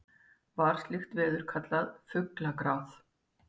var slíkt veður kallað fuglagráð